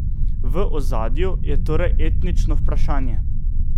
V ozadju je torej etnično vprašanje.